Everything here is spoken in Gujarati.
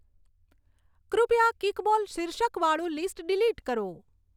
કૃપયા કીકબોલ શીર્ષક વાળું લીસ્ટ ડીલીટ કરો